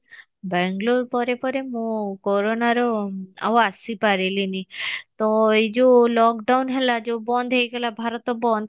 ବାଙ୍ଗେଲୋର ପରେ ପରେ ମୁଁ କରୋନା ରେ ଆଉ ଆସି ପାରିଲିନି ତ ଏଇ ଯୋଉ lockdown ହେଲା ଯୋଉ ବନ୍ଦ ହେଇଗଲା ଭାରତ ବନ୍ଦ